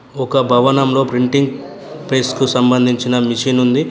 ఒక భవనంలో printing press కు సంబంధించిన మిషనుంది .